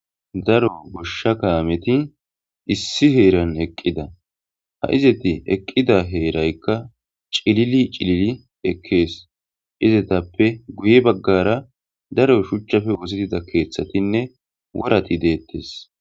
Daro goshsha kaameti issi heeran eqqida ha izeti eqqida heeraykka cilili cilili ekkees izetappe guye baggara daro shuchchafe wositida keeththatinne worati deettes.